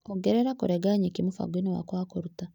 Ongerera kũrenga nyeki mũbango-inĩ wakwa wa kũruta.